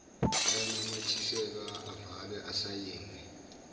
ayananyathiselwa avalwe asayinwe